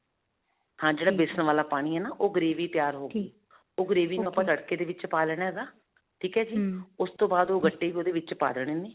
ਹਾਂ ਜਿਹੜਾ ਬੇਸਨ ਵਾਲਾ ਪਾਣੀ ਹੈ ਨਾ, ਉਹ gravy ਤਿਆਰ ਹੋ ਗਈ ਉਹ gravy ਨੂੰ ਆਪਾਂ ਤੜਕੇ ਦੇ ਵਿੱਚ ਪਾ ਲੈਣਾ ਹੈਗਾ ਠੀਕ ਹੈ ਜੀ ਉਸ ਤੋਂ ਬਾਅਦ ਓਹ ਗੱਟੇ ਵੀ ਓਹਦੇ ਵਿੱਚ ਪਾ ਦੇਣੇ ਨੇ.